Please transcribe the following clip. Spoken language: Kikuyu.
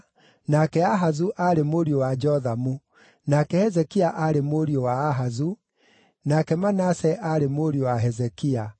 nake Ahazu aarĩ mũriũ wa Jothamu, nake Hezekia aarĩ mũriũ wa Ahazu, nake Manase aarĩ mũriũ wa Hezekia,